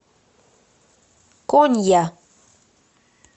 конья